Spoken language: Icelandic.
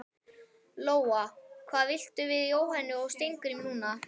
Lóa: Hvað viltu segja við Jóhönnu og Steingrím núna?